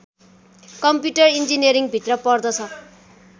computer engineering भित्र पर्दछ